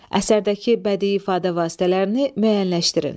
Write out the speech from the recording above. Əsərdəki bədii ifadə vasitələrini müəyyənləşdirin.